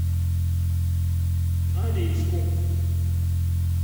норильску